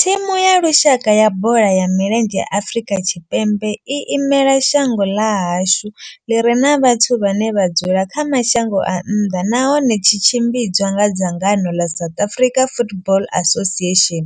Thimu ya lushaka ya bola ya milenzhe ya Afrika Tshipembe i imela shango ḽa hashu ḽi re na vhathu vhane vha dzula kha mashango a nnḓa nahone tshi tshimbidzwa nga dzangano ḽa South African Football Association,